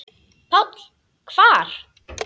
PÁLL: Hvar?